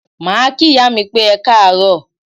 Màá kí ìyá mi pé Ekáàróò.